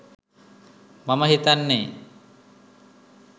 මම හිතන්නෙ.